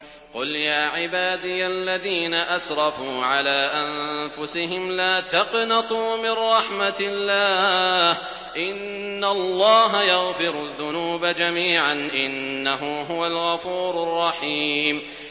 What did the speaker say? ۞ قُلْ يَا عِبَادِيَ الَّذِينَ أَسْرَفُوا عَلَىٰ أَنفُسِهِمْ لَا تَقْنَطُوا مِن رَّحْمَةِ اللَّهِ ۚ إِنَّ اللَّهَ يَغْفِرُ الذُّنُوبَ جَمِيعًا ۚ إِنَّهُ هُوَ الْغَفُورُ الرَّحِيمُ